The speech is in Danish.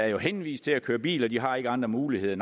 er henvist til at køre i bil og de har ikke andre muligheder